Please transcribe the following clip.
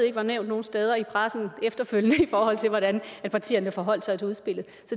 ikke var nævnt nogen steder i pressen efterfølgende i forhold til hvordan partierne forholdt sig til udspillet